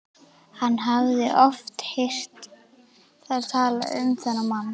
Hann hafði oft heyrt þær tala um þennan mann.